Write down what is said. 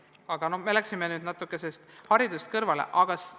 Aga me läksime nüüd sellest hariduse teemast natuke kõrvale.